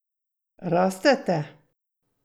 Rastete?